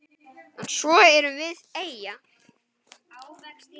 En svo erum við eyja.